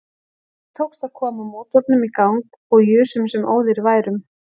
Okkur tókst að koma mótornum í gang og jusum sem óðir værum.